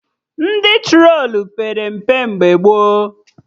Ndị trolu pere mpe mgbe gboo